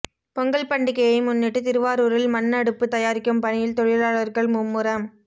பொங்கல் பண்டிகையை முன்னிட்டு திருவாரூரில் மண் அடுப்பு தயாரிக்கும் பணியில் தொழிலாளர்கள் மும்முரம்